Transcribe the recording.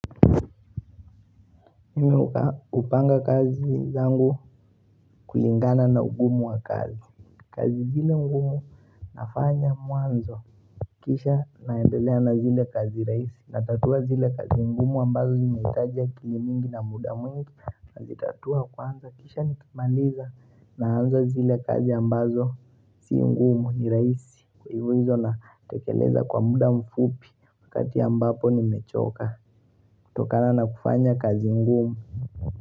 Mimi hupanga kazi zangu kulingana na ugumu wa kazi kazi zile ngumu nafanya mwanzo Kisha naendelea na zile kazi rahisi Natatua zile kazi ngumu ambazo zinahitaji akili mingi na muda mingi Nazitatua kwanza kisha nikimaliza Naanza zile kazi ambazo si ngumu ni rahisi Kwa hivyo hizo natekeleza kwa muda mfupi Wakati ambapo nimechoka kutokana na kufanya kazi ngumu.